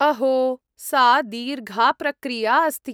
अहो, सा दीर्घा प्रक्रिया अस्ति।